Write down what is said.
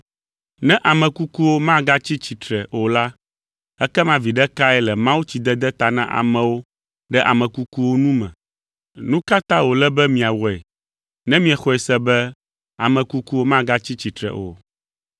Ne ame kukuwo magatsi tsitre o la, ekema viɖe kae le mawutsidede ta na amewo ɖe ame kukuwo nu me? Nu ka ta wòle be miawɔe ne miexɔe se be ame kukuwo magatsi tsitre o?